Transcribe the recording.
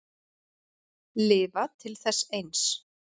Lifa til þess eins.